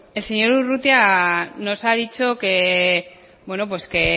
el señor urrutia nos ha dicho que